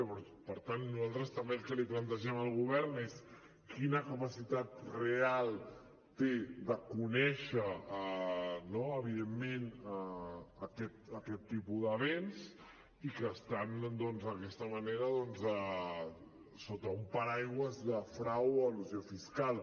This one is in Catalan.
llavors per tant nosaltres el que també li plantegem al govern és quina capacitat real té de conèixer no evidentment aquest tipus de béns i que estan doncs d’aquesta manera sota un paraigua de frau o elusió fiscal